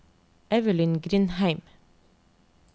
Evelyn Grindheim